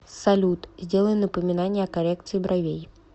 салют сделай напоминание о коррекции бровей